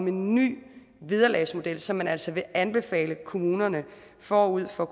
en ny vederlagsmodel som man altså vil anbefale kommunerne forud for